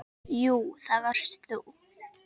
Jú, það varst þú.